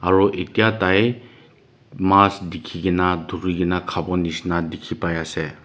aro etia tai mas tekikina turikina kavo neshina tekibai ase.